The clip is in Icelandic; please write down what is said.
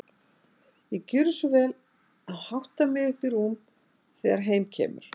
Ég gjöri svo vel að hátta mig upp í rúm þegar heim kemur.